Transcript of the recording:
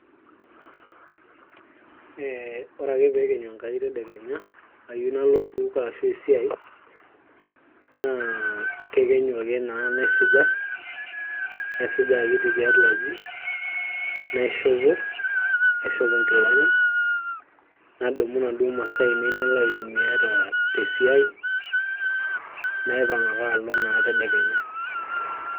ee ore ake peekenyu Enkai tedekenya ayieu nalo osupuko ashu esiai naa kekenyu ake naa naisuja, naisuja akiti tiatua aji naishopo aishop inkilani nadumu inaduo masaa ainei nalo aitumia tesiai naipang ake alo naa tedekenya .